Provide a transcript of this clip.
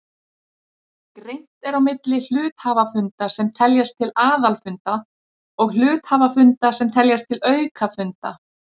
Greint er á milli hluthafafunda sem teljast til aðalfunda og hluthafafunda sem teljast til aukafunda.